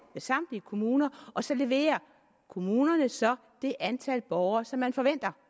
med samtlige kommuner og så leverer kommunerne så det antal borgere som man forventer